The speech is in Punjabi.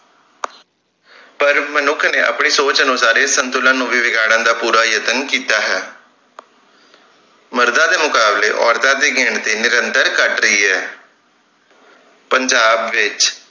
ਪਰ ਮਨੁੱਖ ਨੇ ਆਪਣੀ ਸੋਚ ਅਨੁਸਾਰ ਇਸ ਸੰਤੁਲਨ ਨੂੰ ਵੀ ਵਿਗਾੜਨ ਦਾ ਪੂਰਾ ਯਤਨ ਕੀਤਾ ਹੈ ਮਰਦਾਂ ਦੇ ਮੁਕਾਬਲੇ ਔਰਤਾਂ ਦੀ ਗਿਣਤੀ ਨਿੰਰਤਰ ਘੱਟ ਰਹੀ ਹੈ ਪੰਜਾਬ ਵਿਚ